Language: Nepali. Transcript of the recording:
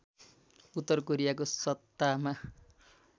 उत्तर कोरियाको सत्तामा